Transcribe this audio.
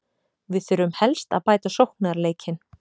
Við þurfum helst að bæta sóknarleikinn.